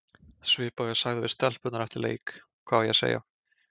Svipað og ég sagði við stelpurnar eftir leik, hvað á ég að segja?